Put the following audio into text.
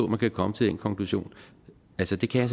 man kan komme til den konklusion altså det kan jeg